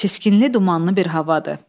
Çiskinli dumanlı bir havadır.